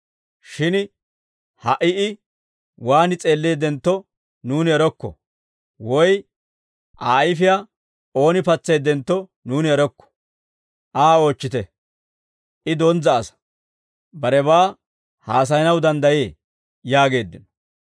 Shin ha"i I waan s'eelleeddentto, nuuni erokko; woy Aa ayfiyaa ooni patseeddentto, nuuni erokko. Aa oochchite; I donzza asaa; barebaa haasayanaw danddayee!» yaageeddino.